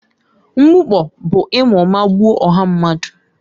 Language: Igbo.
Mgbukpọ bụ ịma ụma gbuo ọha mmadụ.